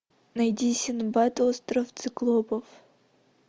найди синдбад остров циклопов